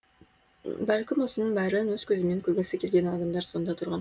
бәлкім осының бәрін өз көзімен көргісі келген адамдар сонда тұрған